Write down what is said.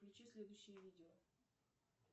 включи следующее видео